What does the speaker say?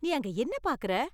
நீ அங்க என்ன பாக்கற?